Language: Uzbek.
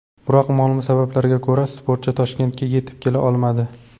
Biroq ma’lum sabablarga ko‘ra, sportchi Toshkentga yetib kela olmadi.